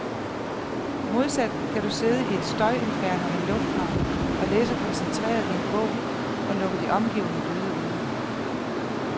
Modsat kan du sidde i et støjinferno i en lufthavn og læse koncentreret i en bog, og lukke de omgivende lyde ude.